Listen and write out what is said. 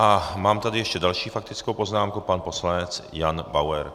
A mám tady ještě další faktickou poznámku - pan poslanec Jan Bauer.